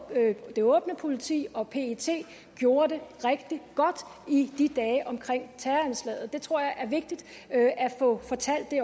det åbne politi og pet gjorde det rigtig godt i dagene omkring terroranslaget det tror jeg er vigtigt at få fortalt